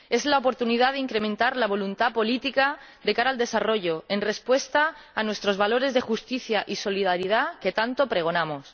Es la oportunidad de incrementar la voluntad política de cara al desarrollo en respuesta a nuestros valores de justicia y solidaridad que tanto pregonamos.